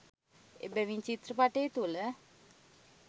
එබැවින් චිත්‍රපටය තුළ